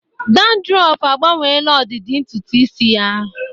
Dandruff agbanweela ọdịdị ntutu isi ya